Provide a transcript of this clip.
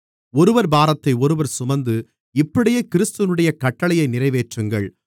ஒருவர் பாரத்தை ஒருவர் சுமந்து இப்படியே கிறிஸ்துவினுடைய கட்டளையை நிறைவேற்றுங்கள்